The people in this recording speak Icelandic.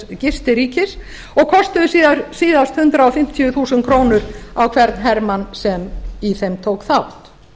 gistiríkis og kostuðu síðast hundrað fimmtíu þúsund krónur á hvern hermann sem í þeim tók þátt